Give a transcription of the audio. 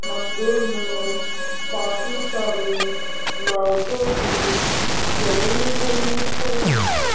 मंदिर में काफी सारी लाइटे भी जली हुई है।